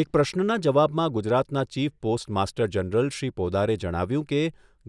એક પ્રશ્નના જવાબમાં ગુજરાતના chief postmaster general Shri પોદારે જણાવ્યું કે